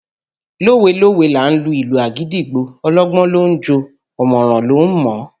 Lówe lówe là á lu ìlù àgídìgbo, ọlọ́gbọ́n ló ń jó o ọ̀mọ̀ràn ló ń mọ̀ ọ́